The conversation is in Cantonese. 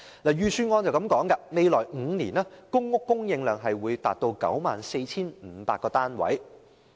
預算案指公屋供應量在未來5年會達到 94,500 個單位。